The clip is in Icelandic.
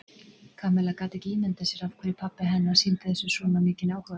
Kamilla gat ekki ímyndað sér af hverju pabbi hennar sýndi þessu svona mikinn áhuga.